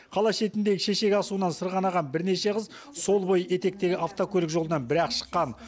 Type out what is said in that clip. қала шетіндегі шешек асуынан сырғанаған бірнеше қыз сол бойы етектегі автокөлік жолынан бір ақ шыққан